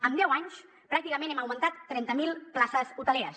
en deu anys pràcticament hem augmentat trenta mil places hoteleres